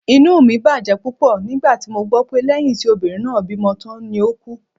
Inú mi bàjẹ́ púpọ̀ nígbà tí mo gbọ́ pé lẹ́yìn tí obìnrin náà bímọ tán ni ó ku